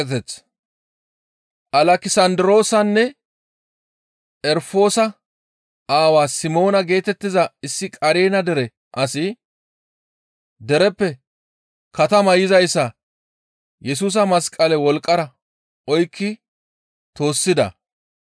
Alakisandrosanne Erufoosa aawa Simoona geetettiza issi Qareena dere asi dereppe katama yizayssa Yesusa masqale wolqqara oykki toossida.